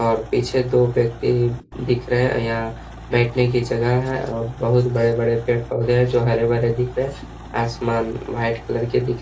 और पीछे दो व्यक्ति दिख रहे हैं। यहाँ बैठने की जगह है और बोहुत बड़े-बड़े पेड़-पौधे हैं जो हरे-भरे दिख रहे है। आसमान व्हाइट कलर के दिख --